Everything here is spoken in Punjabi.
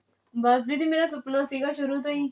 ਬਸ ਦੀਦੀ ਮੇਰਾ ਸੁਪਨਾ ਸੀਗਾ ਸ਼ੁਰੂ ਤੋਂ ਹੀ